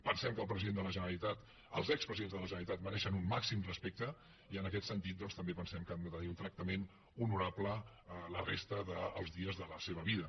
pensem que el president de la generalitat els expresidents de la generalitat mereixen un màxim respecte i en aquest sentit doncs també pensem que han de tenir un tractament honorable la resta dels dies de la seva vida